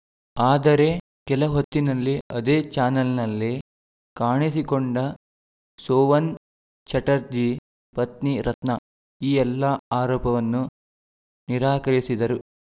ಆದರೆ ಕೆಲ ಹೊತ್ತಿನಲ್ಲಿ ಅದೇ ಚಾನೆಲ್‌ನಲ್ಲಿ ಕಾಣಿಸಿಕೊಂಡ ಸೋವನ್‌ ಚಟರ್ಜಿ ಪತ್ನಿ ರತ್ನಾ ಈ ಎಲ್ಲಾ ಆರೋಪವನ್ನು ನಿರಾಕರಿಸಿದರು